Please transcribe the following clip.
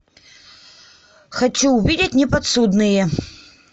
хочу увидеть неподсудные